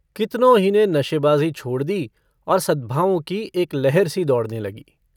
कितनों ही ने नशेबाजी छोड़ दी और सद्भावों की एक लहरसी दौड़ने लगी।